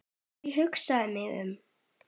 Þegar ég hugsa mig um